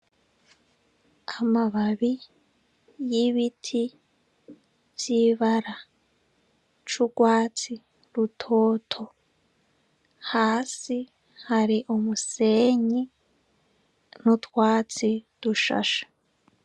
Amababi y'ibiti vyibara c'urwatsi rutoto hasi hari umusenyi n'utwatsi dushasha.